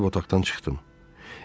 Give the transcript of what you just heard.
Geyinib otaqdan çıxdım.